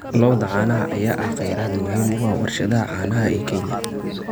Lo'da caanaha ayaa ah kheyraad muhiim u ah warshadaha caanaha ee Kenya.